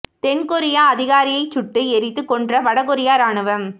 தென் கொரிய அதிகாரியை சுட்டு எரித்து கொன்ற வட கொரிய ராணுவம்